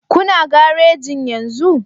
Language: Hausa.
Kuna garejin yenzu